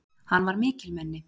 Hann var mikilmenni!